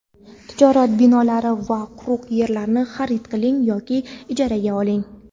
tijorat binolari va quruq yerlarni xarid qiling yoki ijaraga oling.